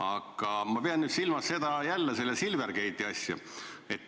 Aga ma pean silmas jälle seda Silvergate'i asja.